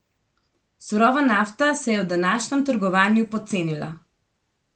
Surova nafta se je v današnjem trgovanju pocenila.